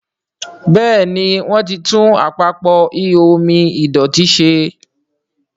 Béèni wón tí tún Àpapọ̀ ihò omi ìdọ̀tító ṣe.